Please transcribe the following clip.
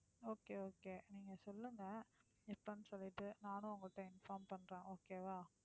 okay, okay நீங்க சொல்லுங்க எப்பன்னு சொல்லிட்டு நானும் உங்க கிட்ட inform பண்றேன். okay வா